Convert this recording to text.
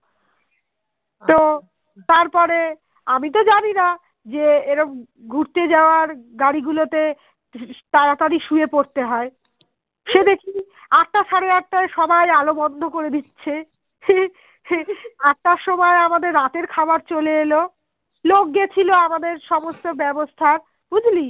এখানে একটা সবাই আলো বন্ধ করে দিচ্ছে সে আটটার সময় আমাদের রাতের খাওয়া চলে এলো লোক গেছিলো আমাদের সমস্ত ব্যবস্থা বুঝলি